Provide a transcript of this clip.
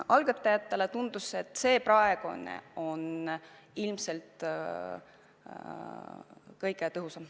Algatajatele tundus, et see praegune variant on ilmselt kõige tõhusam.